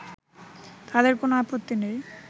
তাদের কোন আপত্তি নেই